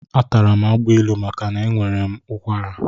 Atara m agbilu maka na enwere m ụkwara.